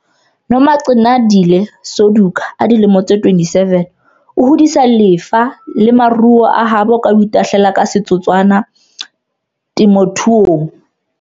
Nomagcinandile Suduka, 27, o hodisa lefa le maruo a habo ka ho itahlela ka setotswana temothuong.